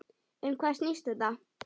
Um hvað snýst þetta?